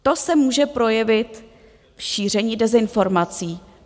To se může projevit v šíření dezinformací.